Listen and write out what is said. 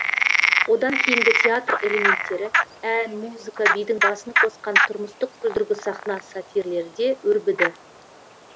одан кейінгі театр элементтері ән музыка бидің басын қосқан тұрмыстық күлдіргі сахна сатирлерде өрбіді